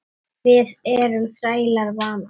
Við erum þrælar vanans.